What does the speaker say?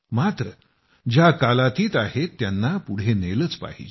मात्र ज्या कालातीत आहेत त्यांना पुढे नेलेच पाहिजे